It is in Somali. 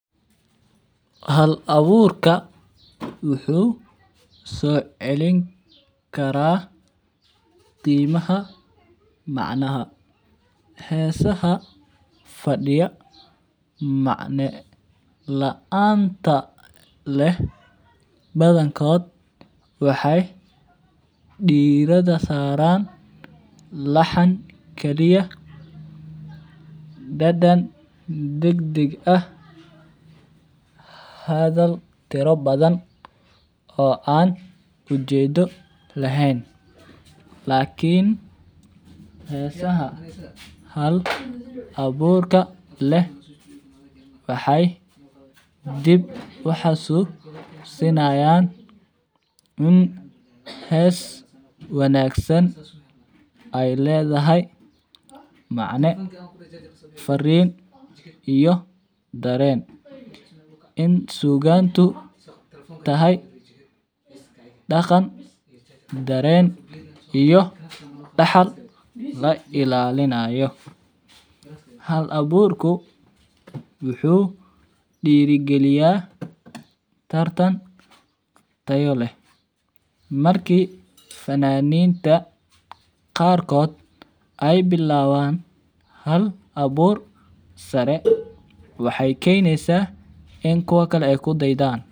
Hal aburka wuxuu socelin karaa qimaha macnaha hesaha fadiya macna laanta leh badankod waxee dirada saran laxan kali ah dadan deg deg ah hadhal tiro badan oo an ujedo laan lakin hesaha hal aburka leh waxee dib uxasusinayan in hes wanagsan ee ledhahay macne farin iyo daren in sugantu tahay daqan saren iyo daqal ilalinayo, hal burku wuxuu dira galinaya tayo leh marki fananinta qarkod ee bilawan hal abur sare waxee keneysa in kuwa kale kudaydan.